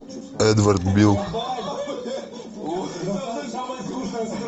эдвард бил